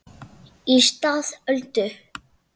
Í stað Öldu